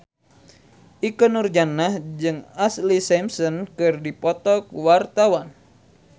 Ikke Nurjanah jeung Ashlee Simpson keur dipoto ku wartawan